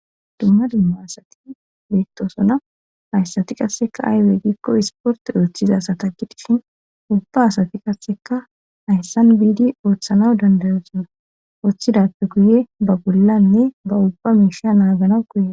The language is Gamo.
Dumma dumma asati beettosona hayssati qasseka aywe gikko isporti ooththiza asataggi dishin ubba asati qasseka hayssan biidi ooththana dandayosonra ooththidappe guye ba bollanne ba ubba miisha naaganaw koye